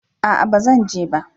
A'a ba Zan je ba